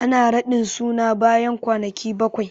Ana raɗin sunan yaro bayan kwanaki bakwai